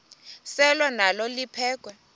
selwa nalo liphekhwe